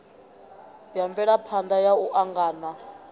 ya mvelaphana ya u angana